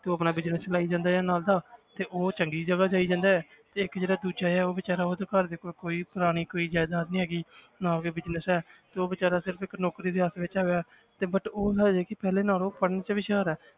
ਤੇ ਉਹ ਆਪਣਾ business ਚਲਾਈ ਜਾਂਦਾ ਹੈ ਨਾਲ ਦਾ ਤੇ ਉਹ ਚੰਗੀ ਜਗ੍ਹਾ ਜਾਈ ਜਾਂਦਾ ਹੈ ਇੱਕ ਜਿਹੜਾ ਦੂਜਾ ਹੈ ਉਹ ਬੇਚਾਰਾ ਉਹਦੇ ਘਰਦੇ ਕੋਲ ਕੋਈ ਪੁਰਾਣੀ ਕੋਈ ਜ਼ਾਇਦਾਦ ਨੀ ਹੈਗੀ ਨਾ ਕੋਈ business ਹੈ ਤੇ ਉਹ ਬੇਚਾਰਾ ਸਿਰਫ਼ ਇੱਕ ਨੌਕਰੀ ਆਸ ਵਿੱਚ ਹੈਗਾ ਹੈ ਤੇ business ਉਹ ਹੈ ਕਿ ਪਹਿਲੇ ਨਾਲੋਂ ਪੜ੍ਹਨ 'ਚ ਵੀ ਹੁਸ਼ਿਆਰ ਹੈ,